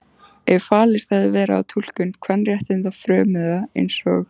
Ef fallist hefði verið á túlkun kvenréttindafrömuða eins og